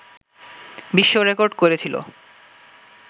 বিশ্ব রেডর্ক করেছিলো